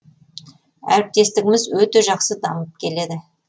әріптестігіміз өте жақсы дамып келеді